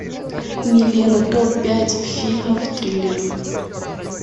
милена топ пять фильмов триллеров